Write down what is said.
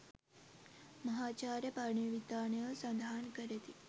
මහාචාර්ය පරණවිතානයෝ සඳහන් කරති.